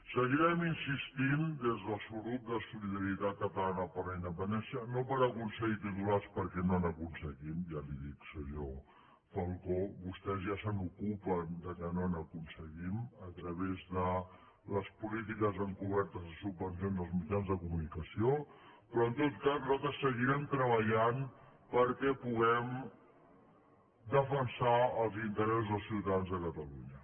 seguirem insistint des del subgrup de solidaritat catalana per la independència no per aconseguir titulars perquè no n’aconseguim ja li ho dic senyor falcó vostès ja se n’ocupen que no n’aconseguim a través de les polítiques encobertes de subvencions als mitjans de comunicació però en tot cas nosaltres seguirem treballant perquè puguem defensar els interessos dels ciutadans de catalunya